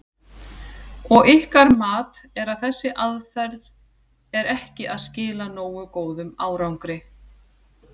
Og ykkar mat er að þessi aðferð er ekki að skila nógu góðum árangri?